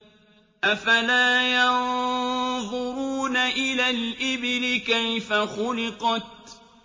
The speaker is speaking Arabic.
أَفَلَا يَنظُرُونَ إِلَى الْإِبِلِ كَيْفَ خُلِقَتْ